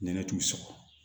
Nɛnɛ t'u sɔgɔ